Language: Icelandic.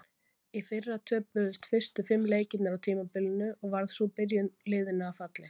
Í fyrra töpuðust fyrstu fimm leikirnir á tímabilinu og varð sú byrjun liðinu að falli.